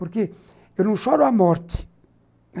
Porque eu não choro a morte.